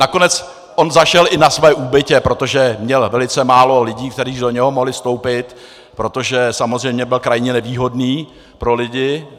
Nakonec on zašel i na své úbytě, protože měl velice málo lidí, kteří do něj mohli vstoupit, protože samozřejmě byl krajně nevýhodný pro lidi.